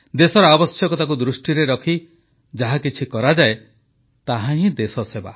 ଦେଶର ଆବଶ୍ୟକତାକୁ ଦୃଷ୍ଟିରେ ରଖି ଯାହାକିଛି କରାଯାଏ ତାହାହିଁ ଦେଶସେବା